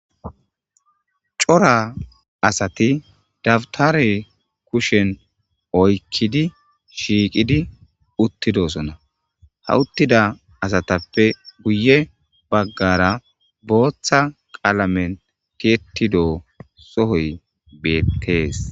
cora asati dabtare kushen oykkidi shiiqidi uttidosona hawuttida asatappe guye baggara booththa qaalamen tiyettido sohoy betese